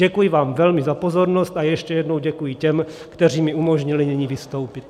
Děkuji vám velmi za pozornost a ještě jednou děkuji těm, kteří mi umožnili nyní vystoupit.